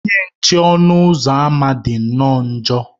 Onye nche ọnụ ụzọ ámá dị nnọọ njọ.